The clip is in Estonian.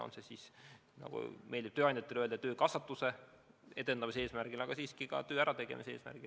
On see siis, nagu meeldib tööandjatele öelda, töökasvatuse edendamise eesmärgil või ka töö ärategemise eesmärgil.